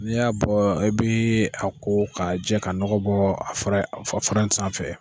N'i y'a bɔ i bi a ko ka jɛ ka nɔgɔ bɔ a fara in sanfɛ.